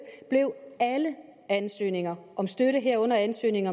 blev alle ansøgninger om støtte herunder ansøgning